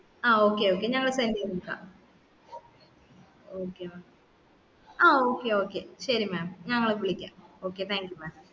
ആ okay okay ഞങ്ങൾ sent ചെയ്തേക okay ആ okay okay ശരി mam ഞങ്ങൾ വിളിക്കാം okay thank you mam